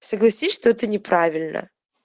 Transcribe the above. согласись что это неправильно